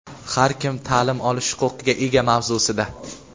Har kim ta’lim olish huquqiga ega mavzusida.